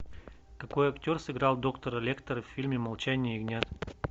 какой актер сыграл доктора лектера в фильме молчание ягнят